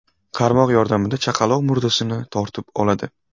Qarmoq yordamida chaqaloq murdasini tortib oladi.